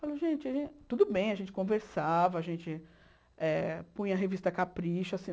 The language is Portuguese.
Falei, gente, tudo bem, a gente conversava, a gente eh punha a revista Capricho.